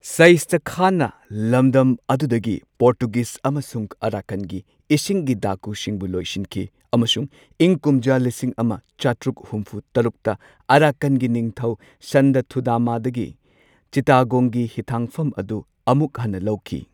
ꯁꯩꯁ꯭ꯇꯥ ꯈꯥꯟꯅ ꯂꯝꯗꯝ ꯑꯗꯨꯗꯒꯤ ꯄꯣꯔꯇꯨꯒꯤꯖ ꯑꯃꯁꯨꯡ ꯑꯔꯥꯀꯥꯟꯒꯤ ꯏꯁꯤꯡꯒꯤ ꯗꯥꯀꯨꯁꯤꯡꯕꯨ ꯂꯣꯏꯁꯤꯟꯈꯤ꯫ ꯑꯃꯁꯨꯡ ꯏꯪ ꯀꯨꯝꯖꯥ ꯂꯤꯁꯤꯡ ꯑꯃ ꯆꯥꯇ꯭ꯔꯨꯛ ꯍꯨꯝꯐꯨ ꯇꯔꯨꯛꯇ ꯑꯔꯥꯀꯥꯟꯒꯤ ꯅꯤꯡꯊꯧ ꯁꯟꯗꯥ ꯊꯨꯙꯝꯃꯗꯒꯤ ꯆꯤꯠꯇꯥꯒꯣꯡꯒꯤ ꯍꯤꯊꯥꯡꯐꯝ ꯑꯗꯨ ꯑꯃꯨꯛ ꯍꯟꯅ ꯂꯧꯈꯤ꯫